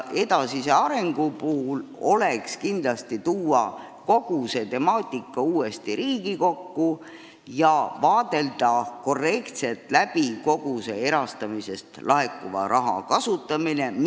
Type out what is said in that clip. Edasise arengu huvides oleks kindlasti väga korrektne tuua kogu see temaatika uuesti Riigikokku ja vaadata korralikult läbi kogu selle erastamisest laekuva raha kasutamine.